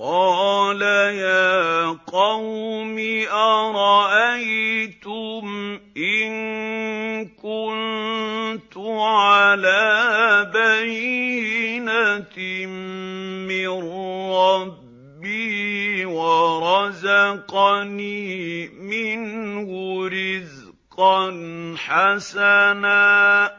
قَالَ يَا قَوْمِ أَرَأَيْتُمْ إِن كُنتُ عَلَىٰ بَيِّنَةٍ مِّن رَّبِّي وَرَزَقَنِي مِنْهُ رِزْقًا حَسَنًا ۚ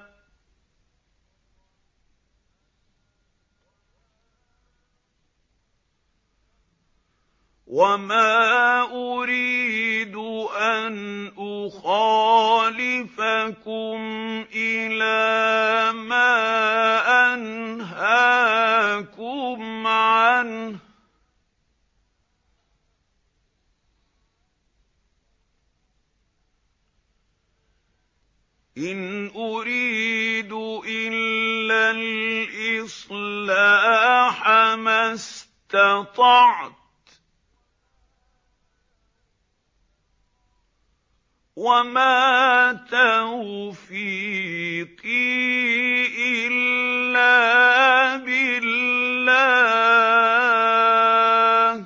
وَمَا أُرِيدُ أَنْ أُخَالِفَكُمْ إِلَىٰ مَا أَنْهَاكُمْ عَنْهُ ۚ إِنْ أُرِيدُ إِلَّا الْإِصْلَاحَ مَا اسْتَطَعْتُ ۚ وَمَا تَوْفِيقِي إِلَّا بِاللَّهِ ۚ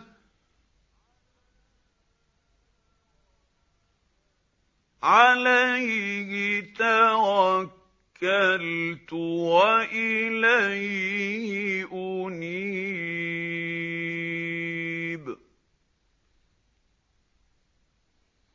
عَلَيْهِ تَوَكَّلْتُ وَإِلَيْهِ أُنِيبُ